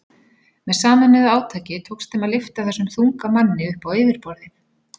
Með sameinuðu átaki tókst þeim að lyfta þessum þunga manni upp á yfirborðið.